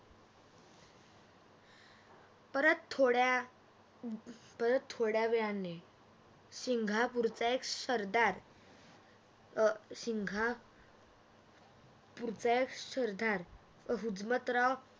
परत थोड्या परत थोड्या वेळाने सिंगापुरच्या एका सरदार अं सिंगा एका सरदार हुजमतराव